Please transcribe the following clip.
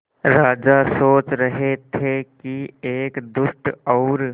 राजा सोच रहे थे कि एक दुष्ट और